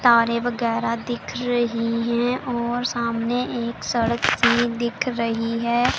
तारे वगैरा दिख रही हैं और सामने एक सड़क भी दिख रही है।